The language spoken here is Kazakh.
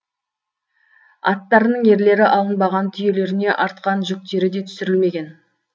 аттарының ерлері алынбаған түйелеріне артқан жүктері де түсірілмеген